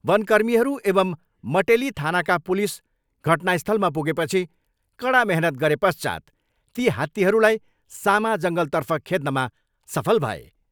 वन कर्मीहरू एवम् मटेली थानाका पुलिस घटनास्थलमा पुगेपछि कडा मेहनत गरे पश्चात् ती हात्तीहरूलाई सामा जङ्गलतर्फ खेद्नमा सफल भए।